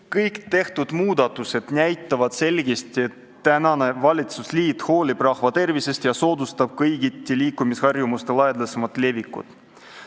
Kõik tehtud muudatused näitavad selgesti, et praegune valitsusliit hoolib rahva tervisest ja soodustab kõigiti liikumisharjumuste laialdasemat levikut.